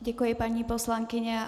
Děkuji, paní poslankyně.